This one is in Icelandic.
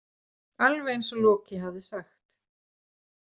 Alveg eins og Loki hafði sagt.